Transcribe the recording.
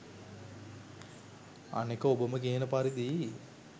අනෙක ඔබම කියන පරිදි